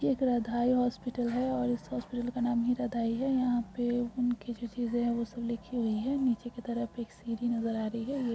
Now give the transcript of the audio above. एक राधाई हॉस्पिटल है और इस हॉस्पिटल का नाम ही राधाई है। यहा पे उनके जो चीजे है। वो सब रखी हुई है। नीचे की तरफ एक सीडी नजर आ रही है।